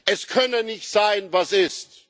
Es könne nicht sein, was ist.